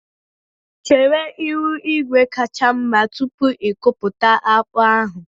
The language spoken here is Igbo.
Chere ihu igwe kacha mma tupu ikuputa akpu ahụ